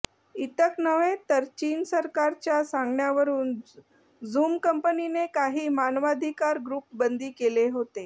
इतक नव्हे तर चीन सरकारच्या सांगण्यावरून झूम कंपनीने काही मानवाधिकार ग्रुप बंदी केले होते